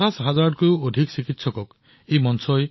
৫০ সহস্ৰাধিকৰো অধিক চিকিৎসক ইয়াৰ সৈতে জড়িত আছে